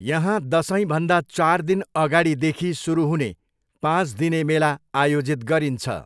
यहाँ दसैँभन्दा चार दिन अगाडिदेखि सुरु हुने पाँच दिने मेला आयोजित गरिन्छ।